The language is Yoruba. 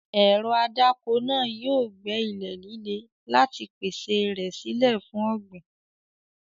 Ẹ̀rọ adáko náà yóò gbẹ́ ilẹ̀ líle láti pèsè rẹ̀ sílẹ̀ fún ọ̀gbìn.